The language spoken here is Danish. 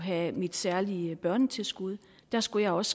have mit særlige børnetilskud da skulle jeg også